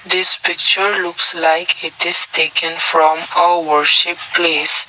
this picture looks like it is taken from a works a place.